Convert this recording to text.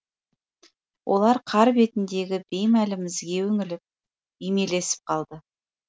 олар қар бетіндегі беймәлім ізге үңіліп үймелесіп қалды